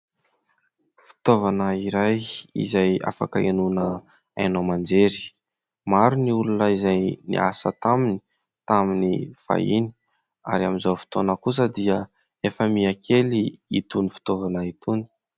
Fitaovana iray izay afaka hiainoana haino aman-jery. Maro ny olona izay niasa taminy tamin'ny fahiny ary amin'izao fotoana kosa dia efa miha kely itony fitaovana itony.